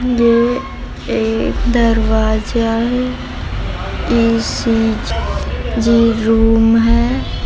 ये एक दरवाजा है इ.सी.जी रूम है।